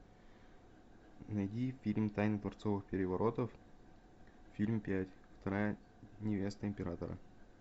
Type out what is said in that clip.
найди фильм тайны дворцовых переворотов фильм пять вторая невеста императора